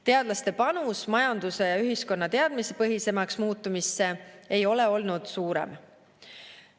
Teadlaste panus majanduse ja ühiskonna teadmistepõhisemaks muutumisse ei ole olnud suurem.